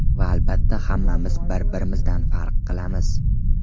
Va albatta hammamiz bir-birimizdan farq qilamiz!